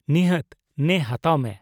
ᱱᱤᱦᱟᱹᱛ, ᱱᱮ ᱦᱟᱛᱟᱣ ᱢᱮ ᱾